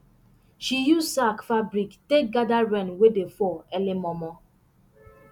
she use sack fabric take gather rain wey dey fall early mormor